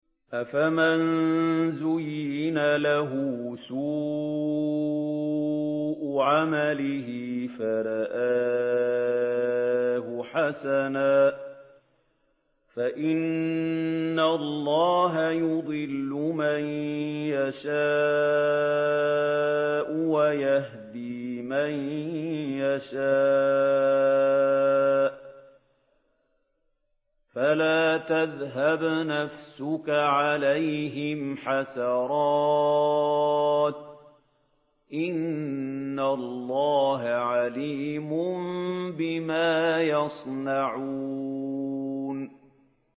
أَفَمَن زُيِّنَ لَهُ سُوءُ عَمَلِهِ فَرَآهُ حَسَنًا ۖ فَإِنَّ اللَّهَ يُضِلُّ مَن يَشَاءُ وَيَهْدِي مَن يَشَاءُ ۖ فَلَا تَذْهَبْ نَفْسُكَ عَلَيْهِمْ حَسَرَاتٍ ۚ إِنَّ اللَّهَ عَلِيمٌ بِمَا يَصْنَعُونَ